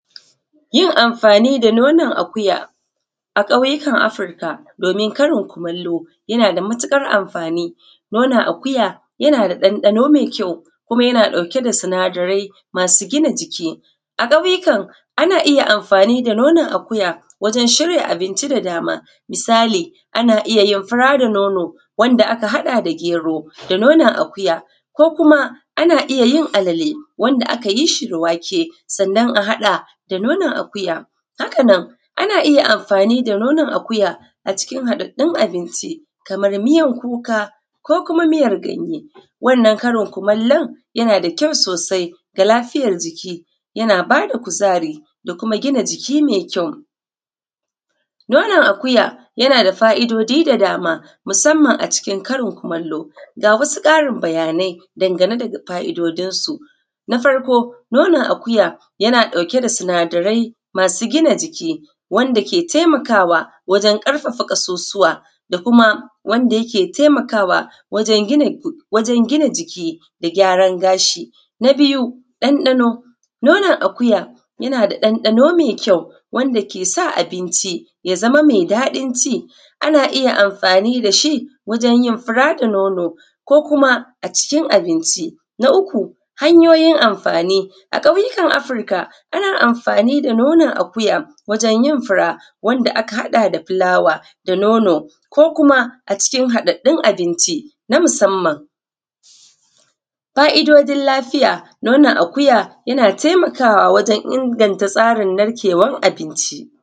Yin amfani da nonon akuya a ƙauyukan Afirka domin karin kumallo, yana da matuƙar amfani. Nonon akuya, yana da ɗanɗano mai kyau, kuma yana ɗauke da sinadarai masu gina jiki. A ƙauyukan, ana iya amfani da nonon akuya wajen shirya abinci da dama. Misali, ana iya yin fura da nono wanda aka haɗa da gero da nonon akuya; ko kuma, ana iya yin alale wanda aka yi shi da wake, sannan a haɗa da nonon akuya; haka nan, ana iya amfani da nonon akuya a cikin haɗaɗɗun abinci, kamar miyar kuka, ko kuma miyar ganye. Wannan karin kumallon, yana da kyau sosai ga lafiyar jiki. Yana ba da kuzari, da kuma gina jiki mai kyau. Nonon akuya, yana da fa’idodi da dama, musamman a cikin karin-kumallo. Ga wasu ƙarin bayanai dangane da fa’idodinsu: Na farko, nonon akuya, yana ɗauke da sinadarai masu gina jiki, wanda ke taimakawa wajen ƙarfafa ƙasusuwa, da kuma wanda yake taimakawa wajen gina jiki, da gyaran gashi. Na biyu, ɗanɗano. Nonon akuya, yana da ɗanɗano mai kyau, wanda ke sa abinci ya zama mai daɗin ci. Ana iya yin amfani da shi, wajen yin fura da nono, ko kuma, a cikin abinci. Na uku, hanyoyin amfani. A ƙauyukan Afirka, ana amfani da nonon akuya wajen yin fura wanda aka haɗa da fulawa da nono, ko kuma a cikin haɗaɗɗun abinci na musamman. Fa’idodin lafiya. Nonon akuya yana taimakawa wajen inganta tsarin narkewan abinci.